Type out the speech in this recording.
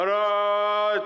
Qərad!